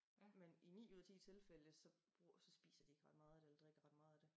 Men i 9 ud af 10 tilfælde så bruger så spiser de ikke ret meget af det eller drikker ikke ret meget af det